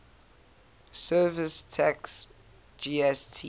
services tax gst